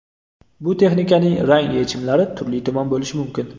Bu texnikaning rang yechimlari turli-tuman bo‘lishi mumkin.